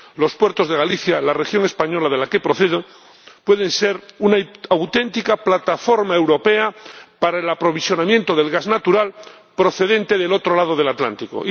Los puertos de Galicia, la región española de la que procedo, pueden ser una auténtica plataforma europea para el aprovisionamiento del gas natural procedente del otro lado del Atlántico.